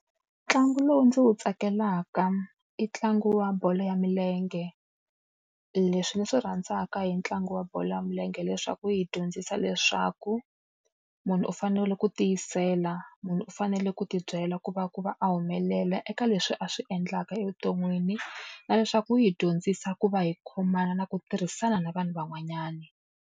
Ntlangu lowu ndzi wu tsakelaka, i ntlangu wa bolo ya milenge. E leswi ndzi swi rhandzaka hi ntlangu wa bolo ya milenge leswaku wu hi dyondzisa leswaku, munhu u fanele ku tiyisela, munhu u fanele ku tibyela ku va ku va a humelela eka leswi a swi endlaka evuton'wini, na leswaku wu hi dyondzisa ku va hi khomana na ku tirhisana na vanhu van'wanyana.